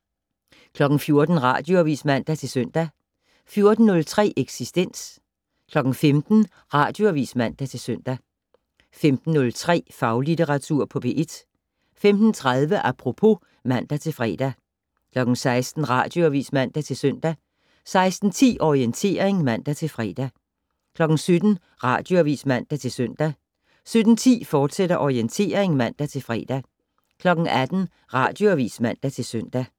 14:00: Radioavis (man-søn) 14:03: Eksistens 15:00: Radioavis (man-søn) 15:03: Faglitteratur på P1 15:30: Apropos (man-fre) 16:00: Radioavis (man-søn) 16:10: Orientering (man-fre) 17:00: Radioavis (man-søn) 17:10: Orientering, fortsat (man-fre) 18:00: Radioavis (man-søn)